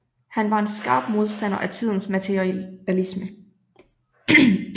Han var en skarp modstander af tidens materialisme